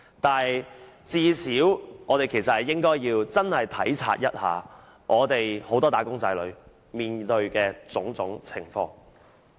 但是，最少我們應該體察一下很多"打工仔女"面對的種種情況。